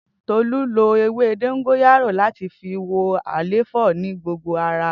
Tolu lo ewe dongoyaro lati fi wo àléfọ naa ni gbogbo ara.